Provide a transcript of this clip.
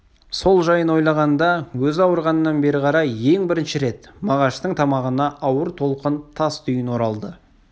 сол жайын ойлағанда өзі ауырғаннан бері қарай ең бірінші рет мағаштың тамағына ауыр толқын тас түйін оралды